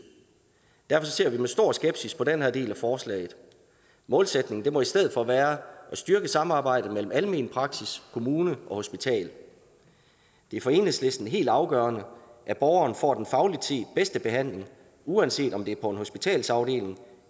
derfor ser vi med stor skepsis på den her del af forslaget målsætningen må i stedet for være at styrke samarbejdet mellem almen praksis kommune og hospital det er for enhedslisten helt afgørende at borgeren får den fagligt set bedste behandling uanset om det er på en hospitalsafdeling